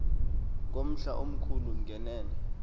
ngumhla omkhulu ngenene